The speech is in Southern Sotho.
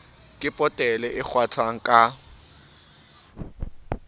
ke potele e kgwathwang ka